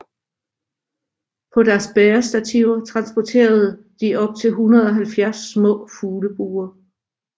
På deres bærestativer transporterede de op til 170 små fuglebure